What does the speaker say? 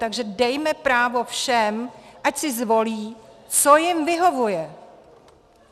Takže dejme právo všem, ať si zvolí, co jim vyhovuje.